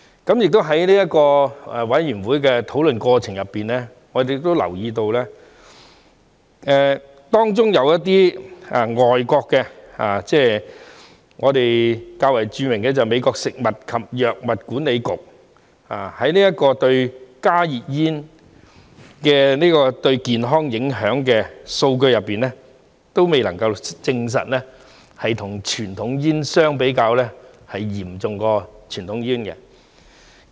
同時，在法案委員會的討論過程中，我們亦留意到，當中有一些外國機構，較為著名的是美國食品及藥物管理局，就加熱煙對健康影響的數據而言，他們也未能證實加熱煙與傳統煙相比，影響是較傳統煙嚴重。